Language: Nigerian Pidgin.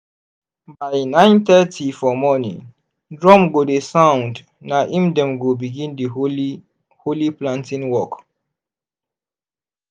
by nine thirty for morning drum go dey sound na im dem go begin di holy holy planting walk.